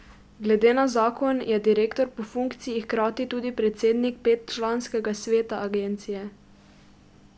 Glede na zakon je direktor po funkciji hkrati tudi predsednik petčlanskega sveta agencije.